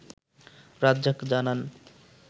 রাজ্জাক জানান